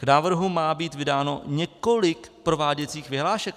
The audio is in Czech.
K zákonu má být vydáno několik prováděcích vyhlášek.